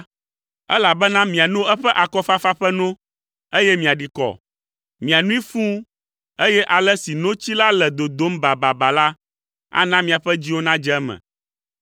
elabena miano eƒe akɔfafa ƒe no, eye miaɖi kɔ. Mianoe fũu, eye ale si notsi la le dodom bababa la, ana miaƒe dziwo nadze eme.”